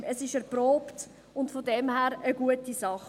es ist erprobt und daher eine gute Sache.